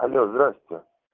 алло здравствуйте